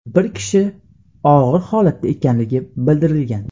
Bir kishi og‘ir holatda ekanligi bildirilgan.